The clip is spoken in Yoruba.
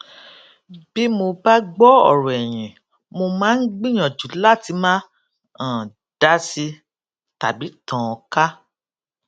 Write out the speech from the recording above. bí mo bá gbọ ọrọ ẹyin mó máa ń gbìyànjú láti má um dási tàbí tàn án ká